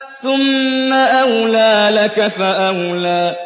ثُمَّ أَوْلَىٰ لَكَ فَأَوْلَىٰ